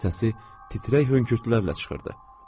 Səsi titrək hönkürtülərlə çıxırdı.